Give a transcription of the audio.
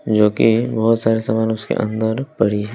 जो कि बहोत सारे सामान उसके अंदर पड़ी है।